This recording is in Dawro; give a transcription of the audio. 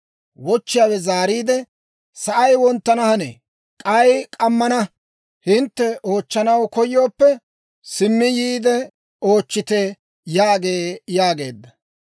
Wochchiyaawe zaariide, ‹Sa'ay wonttana hanee; k'ay k'ammana; hintte oochchanaw koyooppe, simmi yiide oochchite› yaagee» yaageedda.